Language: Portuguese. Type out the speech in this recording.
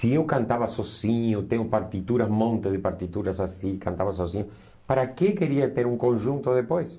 Se eu cantava sozinho, tenho partituras, um monte de partituras assim, cantava sozinho, para que queria ter um conjunto depois?